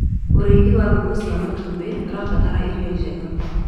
ũrĩithi wa ngũkũ cia matumbi ũrabatara irio njega